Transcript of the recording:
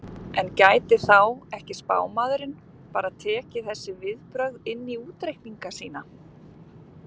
en gæti þá ekki spámaðurinn bara tekið þessi viðbrögð inn í útreikninga sína